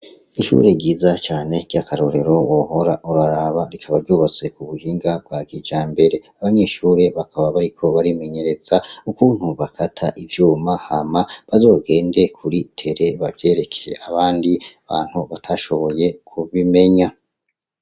Ishure ryiza cane ryakarorero wohora uraraba, rikaba ryubatse kubuhinga bwa kijambere , abanyeshure bakaba bariko barimenyereza ukuntu bakata ivyuma hama bazogende kuri tere bavyereke abandi bantu batashoboye kubimenya.